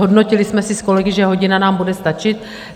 Zhodnotili jsme si s kolegy, že hodina nám bude stačit.